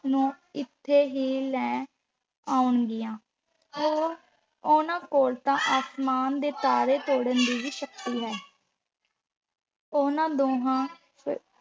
ਨੂੰ ਇੱਥੇ ਹੀ ਲੈ ਆਉਂਣਗੀਆਂ, ਉਹ ਉਹਨਾਂ ਕੋਲ ਤਾਂ ਅਸਮਾਨ ਦੇ ਤਾਰੇ ਤੋੜਨ ਦੀ ਵੀ ਸ਼ਕਤੀ ਹੈ। ਉਹਨਾਂ ਦੋਹਾਂ